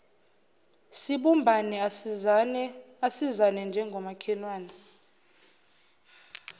sibumbane asisizane njengomakhelwane